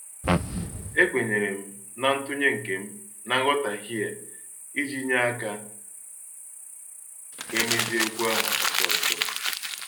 Ekwenyerem na ntunye nkem na nghotaghie a iji nye aka ka emezie okwu ahụ ọsọ ọsọ.